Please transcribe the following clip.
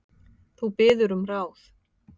Þú biður um ráð.